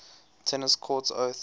tennis court oath